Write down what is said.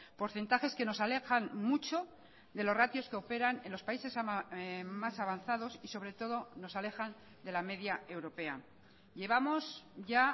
porcentajes que nos alejan mucho de los ratios que operan en los países más avanzados y sobre todo nos alejan de la media europea llevamos ya